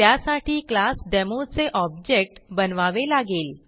त्यासाठी class demo चे object बनवावे लागेल